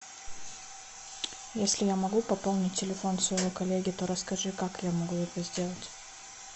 если я могу пополнить телефон своего коллеги то расскажи как я могу это сделать